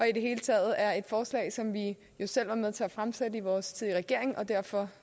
i det hele taget er et forslag som vi jo selv tidligere var med til at fremsætte i vores regering og derfor